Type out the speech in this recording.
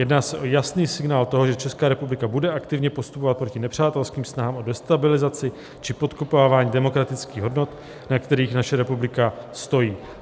Jedná se o jasný signál toho, že Česká republika bude aktivně postupovat proti nepřátelským snahám o destabilizaci či podkopávání demokratických hodnot, na kterých naše republika stojí.